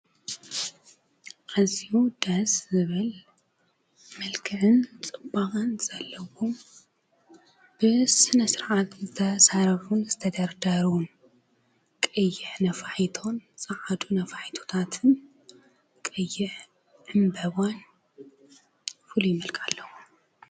አዝዩ ደስ ዝብል መልክዕን ፅባቐን ዘለዎ ብስነ ስርዓት ዝተሰርሑን ዝተደርደሩን ቀይሕ ነፋሒቶ ፀዓዱን ነፋሒቶታትን፣ ቀይሕ ዕምበባን ፍሉይ መልክዕ አለዎም።